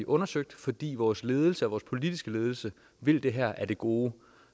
undersøge fordi vores ledelse og vores politiske ledelse vil det her af det gode